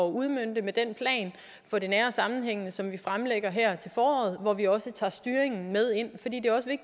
udmønte med den plan for det nære og sammenhængende som vi fremlægger her til foråret hvor vi også tager styringen med